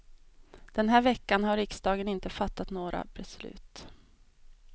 Den här veckan har riksdagen inte fattat några beslut.